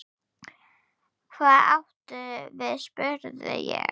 Hvað áttu við spurði ég.